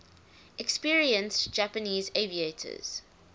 experienced japanese aviators